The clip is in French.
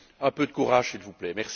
Un peu de courage, s'il vous plaît.